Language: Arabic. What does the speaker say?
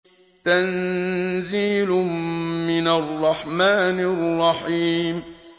تَنزِيلٌ مِّنَ الرَّحْمَٰنِ الرَّحِيمِ